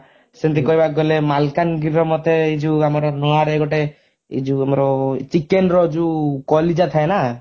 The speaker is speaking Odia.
ସେମିତି କହିବାକୁ ଗଲେ ମାଲକାନଗିରିର ମତେ ଏ ଯଉ ଆମର ନୂଆରେ ଗୋଟେ ଏ ଯଉ ଆମର chicken ର ଜଉ କଲିଜା ଥାଏ ନା